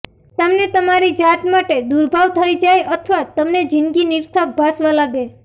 તમને તમારી જાત માટે દુર્ભાવ થઈ જાય અથવા તમને જિંદગી નિરર્થક ભાસવા લાગે